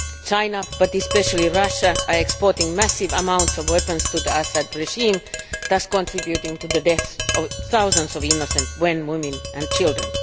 China, and especially Russia, are exporting massive amounts of weapons to the Assad regime, thus contributing to the deaths of thousands of innocent men, women and children.